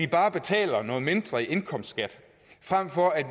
bare betaler noget mindre i indkomstskat frem for at